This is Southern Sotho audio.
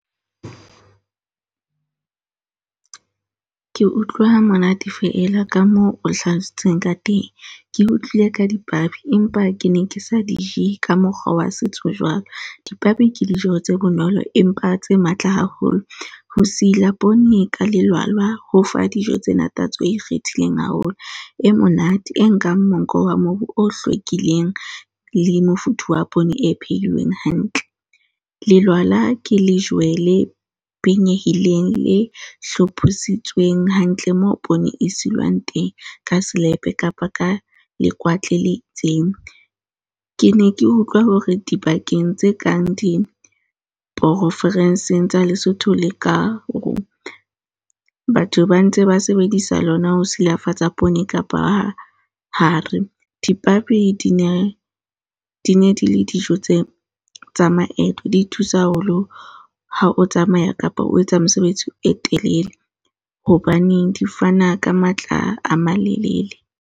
Ke utlwa monate fela ka moo o hlaloseditseng ka teng. Ke utlwile ka dipabi empa ke ne ke sa di je ka mokgwa wa setso jwalo. Dipabi ke dijo tse bonolo, empa tse matla haholo. Ho sila pone ka lelwalwa ho fa dijo tsena tatso e ikgethileng haholo, e monate e nkang monko wa mobu o hlwekileng le mofuthu wa pone e phehilweng hantle. Lelwala ke lejwe le penyehileng, le hlophisitsweng hantle moo pone e silwang teng ka selepe kapa ka lekwatle le itseng. Ke ne ke utlwa hore dibakeng tse kang diporofenseng tsa Lesotho, le ka hoo, batho ba ntse ba sebedisa lona ho silafatsa pone kapa ha hare. Dipabi di ne di ne di le dijo tse tsa maeto, di thusa haholo ha o tsamaya kapa o etsa mosebetsi e telele, hobaneng di fana ka matla a malelele.